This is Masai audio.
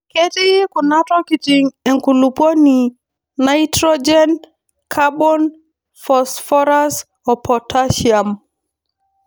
Ketii kuna tokitin enkulupuoni naitrojen kabon fosforas o potashiam.